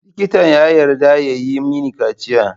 Likitan ya yarda ya yi mini kaciya.